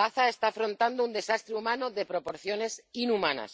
Gaza está afrontando un desastre humano de proporciones inhumanas,